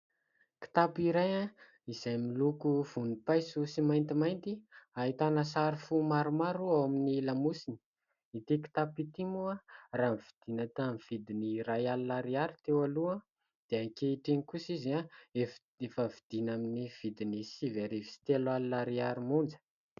Kitapo iray izay miloko vonimpaiso sy maintimainty. Ahitana sary fo maromaro ao amin'ny lamosiny. Ity kitapo ity moa raha ny vidiana tamin'ny vidiny iray alina ariary teo aloha, dia ankehitriny kosa izy efa vidiana amin'ny vidiny sivy arivo sy telo alina ariary monja.